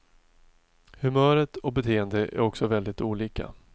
Humöret och beteendet är också väldigt olika.